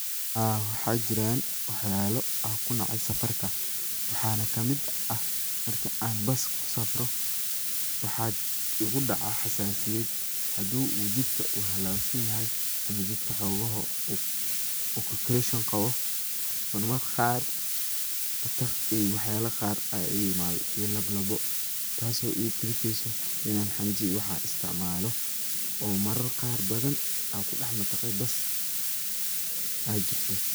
aa waxa jiraan wax yalo anku nacay safarka. waxana kamid ah, marki an bas kusafro waxaa igu daaca xasaasityad haduu uu jidka uu halawsan yahay ama jidka uu woxogoho uu corrogation qabo, mar mar qaar mantaq iyo wax yala qar aya iga yimada iyo lalaabo taaso igu kalifeyso in an xanjo iyo waxas isticmaalo oo marar qaar badan an kudhax mantaqee bas a jirto